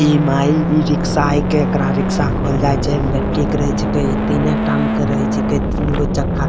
EMI e rickshaw हके रिक्शा कहल जाय छै एमे बेटिक रहे छै तीने टांग के रहय छीये तीन गो चक्का --